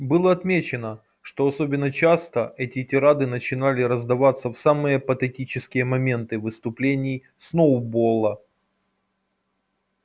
было отмечено что особенно часто эти тирады начинали раздаваться в самые патетические моменты выступлений сноуболла